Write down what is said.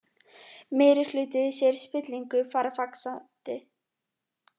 Meirihluti segir spillingu fara vaxandi